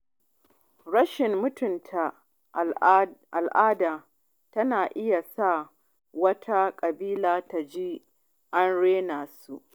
Rashin mutunta al’ada yana iya sa wata ƙabila ta ji an raina su.